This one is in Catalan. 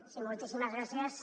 sí moltíssimes gràcies